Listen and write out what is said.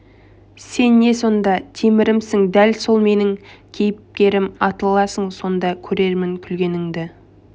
сен не сонда темірімсің дәл сол менің кейіпкерім атыласың сонда көрермін күлгенді